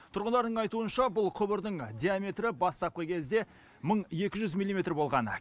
тұрғындардың айтуынша бұл құбырдың диаметрі бастапқы кезде мың екі жүз милиметр болған